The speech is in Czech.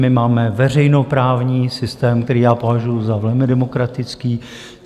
My máme veřejnoprávní systém, který já považuju za velmi demokratický.